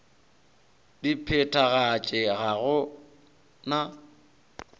di phethagatše ga go na